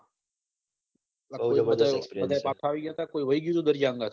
બધા પાછા આવી ગયા હતા કે કોઈ વહી ગયું તુ દરિયામાં હંગાથે